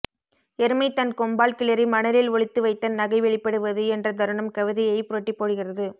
எருமை தன் கொம்பால் கிளறி மணலில் ஒளித்து வைத்த நகை வெளிப்படுவது என்ற தருணம் கவிதையைப் புரட்டிப்போடுகிறது